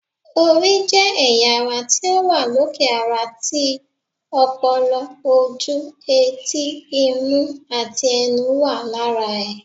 Orí jẹ́ ẹ̀yà ara ti ó wà lókè ara tí, ọpọlọ, ojú, etí, imú àti ẹnu wà lára ẹ̀